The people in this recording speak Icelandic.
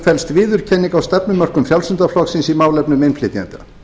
felst viðurkenning á stefnumörkun frjálslynda flokksins í málefnum innflytjenda